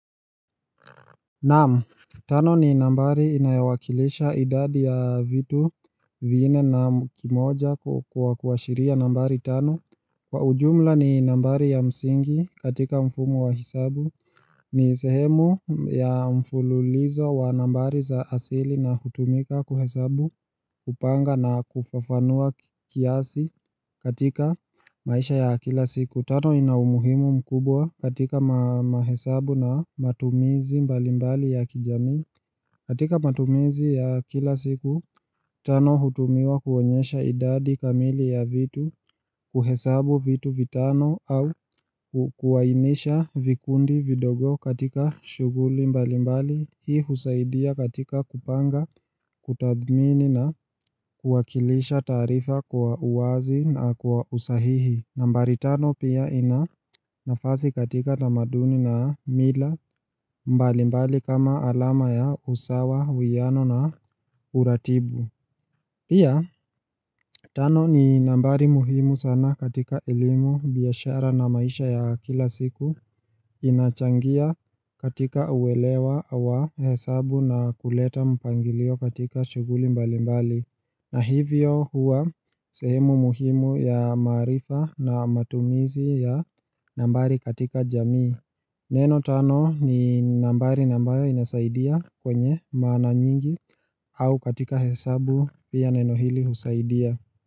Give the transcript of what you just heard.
Naam, tano ni nambari inayowakilisha idadi ya vitu vinine na kimoja kwa kuashiria nambari tanu Kwa ujumla ni nambari ya msingi katika mfumu wa hesabu ni sehemu ya mfululizo wa nambari za asili na hutumika kuhesabu kupanga na kufafanua kiasi katika maisha ya kila siku Kutano inaumuhimu mkubwa katika mahesabu na matumizi mbalimbali ya kijami. Katika matumizi ya kila siku, tano hutumiwa kuonyesha idadi kamili ya vitu, kuhesabu vitu vitano au kuwainisha vikundi vidogo katika shughuli mbalimbali. Hii husaidia katika kupanga, kutadhmini na kuwakilisha taarifa kwa uwazi na kwa usahihi. Nambari tano pia inanafasi katika tamaduni na mila mbalimbali kama alama ya usawa, huyano na uratibu. Pia tano ni nambari muhimu sana katika elimu biashara na maisha ya kila siku inachangia katika uwelewa wa hesabu na kuleta mpangilio katika shughuli mbalimbali. Na hivyo huwa sehemu muhimu ya maarifa na matumizi ya nambari katika jamii Neno tano ni nambari ambayo inasaidia kwenye maana nyingi au katika hesabu pia neno hili husaidia.